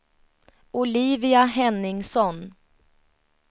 Olivia Henningsson